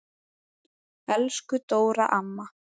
Elsku Dóra amma.